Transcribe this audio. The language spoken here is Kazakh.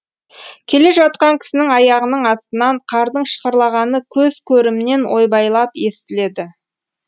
келе жатқан кісінің аяғының астынан қардың шықырлағаны көз көрімнен ойбайлап естіледі